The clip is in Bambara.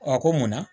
A ko munna